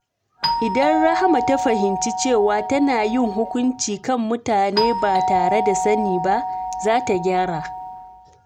Idan Rahama ta fahimci cewa tana yin hukunci kan mutane ba tare da sani ba, za ta gyara.